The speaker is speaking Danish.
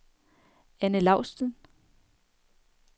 Anne Laustsen